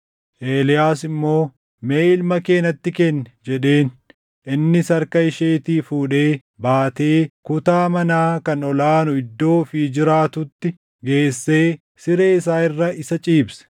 Eeliyaas immoo, “Mee ilma kee natti kenni” jedheen. Innis harka isheetii fuudhee baatee kutaa manaa kan ol aanu iddoo ofii jiraatutti geessee siree isaa irra isa ciibse.